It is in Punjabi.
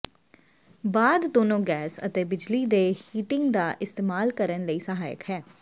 ਬਾਅਦ ਦੋਨੋ ਗੈਸ ਅਤੇ ਬਿਜਲੀ ਦੇ ਹੀਟਿੰਗ ਦਾ ਇਸਤੇਮਾਲ ਕਰਨ ਲਈ ਸਹਾਇਕ ਹੈ